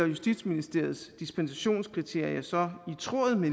justitsministeriets dispensationskriterier så i tråd med